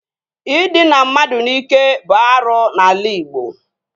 Ịdịna mmadụ n'ike bụ arụ n'ala Ịgbo